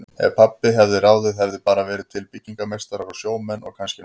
Ef pabbi hefði ráðið hefðu bara verið til byggingameistarar og sjómenn og kannski nokkrir bændur.